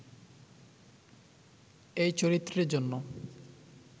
এই চরিত্রের জন্য